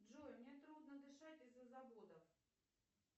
джой мне трудно дышать из за заводов